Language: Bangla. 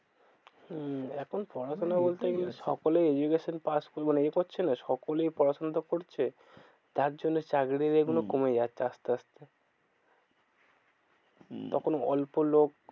হম এখন এইটাই আছে পড়াশোনা বলতে সকলেই pass করছে মানে এ করছে না সকলেই পড়াশোনাটা করছে। যার জন্য চাকরির এ গুলো হম কমে যাচ্ছে আসতে আসতে। হম তখন অল্প লোক